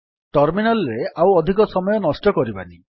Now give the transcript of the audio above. terminal ରେ ଆଉ ଅଧିକ ସମୟ ନଷ୍ଟ କରିବାନି